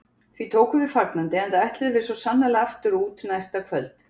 Því tókum við fagnandi, enda ætluðum við svo sannarlega aftur út næsta kvöld.